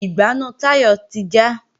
Ìgbánú Táyọ̀ ti já